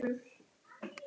Bókin verður einar